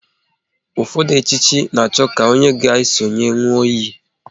Ụfọdụ echichi na-achọ ka onye a ga esonye nwụọ iyi